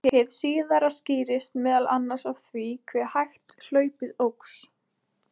hið síðara skýrist meðal annars af því hve hægt hlaupið óx